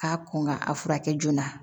K'a kɔn ka a furakɛ joona